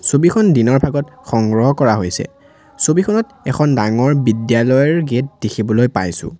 ছবিখন দিনৰ ভাগত সংগ্ৰহ কৰা হৈছে ছবিখনত এখন ডাঙৰ বিদ্যালয়ৰ গেট দেখিবলৈ পাইছোঁ।